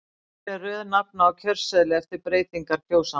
Hver er röð nafna á kjörseðli eftir breytingar kjósanda?